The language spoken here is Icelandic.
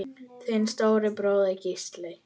Þinn stóri bróðir, Gísli.